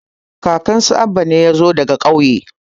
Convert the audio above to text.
kakan su Abba ne ya zo daga ƙauye